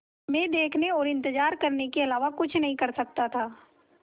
मैं देखने और इन्तज़ार करने के अलावा कुछ नहीं कर सकता था